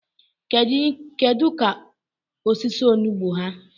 kedu ka osisi onugbo ha?